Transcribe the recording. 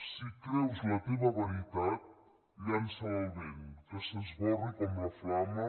si creus la teva veritat llança la al vent i que s’arbori com la flama